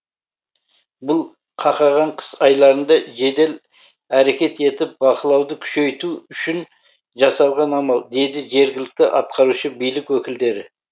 бұл қақаған қыс айларында жедел әрекет етіп бақылауды күшейту үшін жасалған амал дейді жергілікті атқарушы билік өкілдері